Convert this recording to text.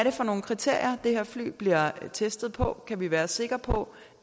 er for nogle kriterier de her fly bliver testet på kan vi være sikre på